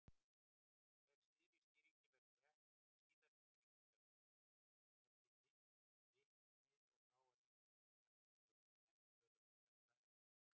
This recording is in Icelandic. Ef síðari skýringin væri rétt gæti litnið, og þá að líkindum kjarnsýran, enn verið erfðaefnið.